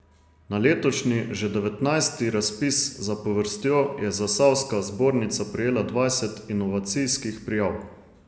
Na letošnji, že devetnajsti razpis zapovrstjo je zasavska zbornica prejela dvajset inovacijskih prijav.